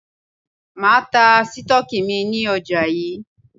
Máa ta Sítọ́ọ́kì mi ní ọjà yí.